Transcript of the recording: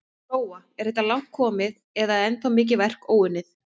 Lóa: Er þetta langt komið eða er ennþá mikið verk óunnið?